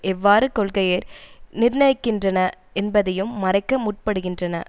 எவ்வாறு கொள்கையை நிர்ணயிக்கின்றன என்பதையும் மறைக்க முற்படுகின்றன